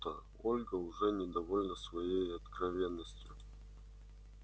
будто ольга уже недовольна своей откровенностью